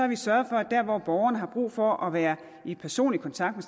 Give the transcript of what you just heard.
vi sørget for at der hvor borgerne har brug for at være i personlig kontakt